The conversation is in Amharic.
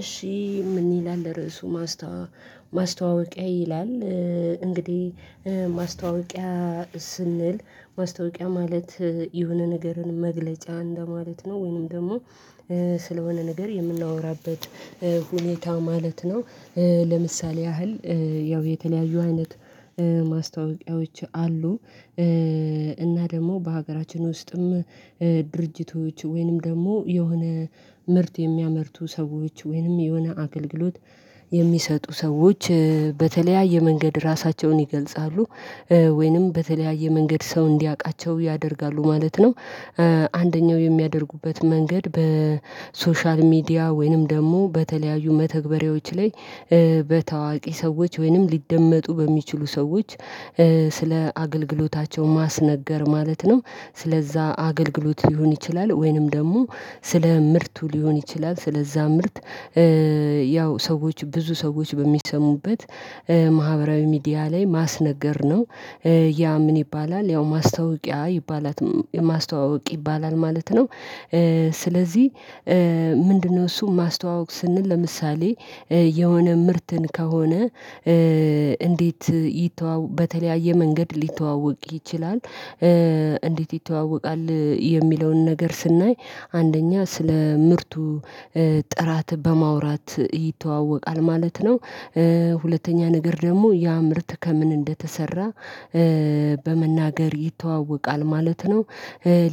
እሺ ምን ይላል ርዕሱ ማስታወቂያ ይላል? እንግዲህ ማስታወቂያ ስንል ማስታወቂያ ማለት የሆነ ነገርን መግለጫ እንደማለት ነው። ወይንም ደግሞ ስለሆነ ነገር የምናወራበት ሁኔታ ማለት ነው። ለምሳሌ ያህል ያው የተለያዩ አይነት ማስታወቂያዎች አሉ። እና ደግሞ በሀገራችን ውስጥም ድርጅቶች ወይንም ደግሞ የሆነ ምርት የሚያመርቱ ሰዎች ወይንም የሆነ አገልግሎት የሚሰጡ ሰዎች በተለያየ መንገድ ራሳቸውን ይገልጻሉ ወይንም በተለያየ መንገድ ሰው እንዲያቃቸው ያደርጋሉ ማለት ነው። አንደኛው የሚያደርጉበት መንገድ በሶሻል ሚዲያ ወይንም ደግሞ በተለያዩ መተግበሪያዎች ላይ በታዋቂ ሰዎች ወይንም ሊደመጡ በሚችሉ ሰዎች ስለ አገልግሎታቸው ማስነገር ማለት ነው። ስለዛ አገልግሎት ሊሆን ይችላል ወይንም ደግሞ ስለ ምርቱ ሊሆን ይችላል ስለዛ ምርት ያው ሰዎች ብዙ ሰዎች በሚሰሙበት ማህበራዊ ሚዲያ ላይ ማስነገር ነው። ያ ምን ይባላል ያው ማስታወቂያ ይባላል ማስተዋወቅ ይባላል ማለት ነው። ስለዚህ ምንድነው? እሱ ማስተዋወቅ ስንል ለምሳሌ የሆነ ምርትን ከሆነ እንዴት በተለያየ መንገድ ሊተዋወቅ ይችላል? እንዴት ይተዋወቃል የሚለውን ነገር ስናይ አንደኛ ስለ ምርቱ ጥራት በማውራት ይተዋወቃል ማለት ነው። ሁለተኛ ነገር ደግሞ ያ ምርት ከምን እንደተሰራ በመናገር ይተዋወቃል ማለት ነው።